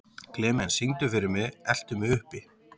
Klemens, syngdu fyrir mig „Eltu mig uppi“.